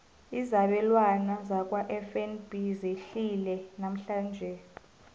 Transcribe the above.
izabelwana zakwafnb zehlile namhlanje